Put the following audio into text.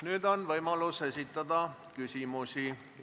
Nüüd on võimalus esitada küsimusi.